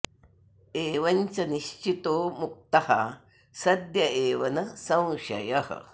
एवं च निश्चितो मुक्तः सद्य एव न संशयः